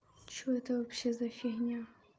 что это вообще за фигня